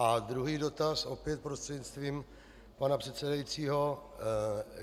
A druhý dotaz, opět prostřednictvím pana předsedajícího.